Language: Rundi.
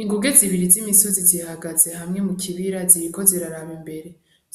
Inguge zibiri zimisozi zihagaze hamwe mukibira ziriko ziraraba imbere